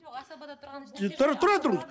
жоқ асабада тұрған ештеңе тұра тұрыңыз